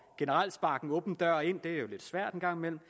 og generelt sparke en åben dør ind det er jo lidt svært en gang imellem